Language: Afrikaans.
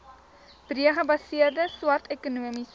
breedgebaseerde swart ekonomiese